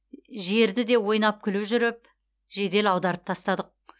жерді де ойнап күлу жүріп жедел аударып тастадық